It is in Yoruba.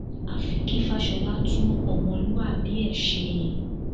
àfi kí fàsọlà tún ọmọlúàbí ẹ ṣe